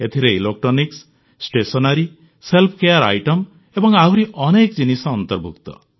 ଏଥିରେ electronics stationery self care item ଏବଂ ଆହୁରି ଅନେକ ଜିନିଷ ଅନ୍ତର୍ଭୁକ୍ତ